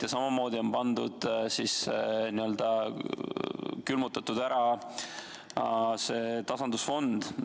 Ja samamoodi on n-ö külmutatud ära see tasandusfond.